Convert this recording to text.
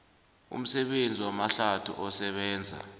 umsebenzi wamahlathi osebenza